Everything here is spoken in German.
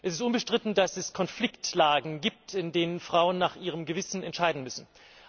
Es ist unbestritten, dass es Konfliktlagen gibt, in denen Frauen nach ihrem Gewissen entscheiden müssen.